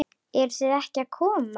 Eruð þið ekki að koma?